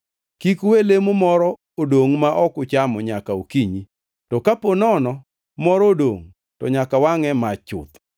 Kik uwe lemo moro dongʼ ma ok uchamo nyaka okinyi; to kapo nono moro odongʼ to nyaka wangʼe e mach chuth.